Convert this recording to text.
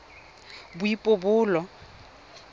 boipobolo